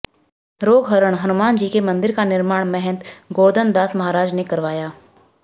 रोगहरण हनुमानजी के मन्दिर का निर्माण महंत गोर्धनदास महाराज ने कराया